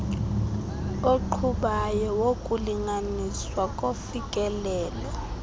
oqhubayo wokulinganiswa kofikelelo